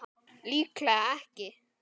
Líklega ekki.